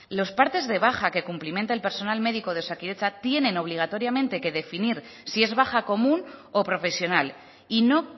los partes de baja que cumplimenta el personal médico de osakidetza tienen obligatoriamente que definir si es baja común o profesional y no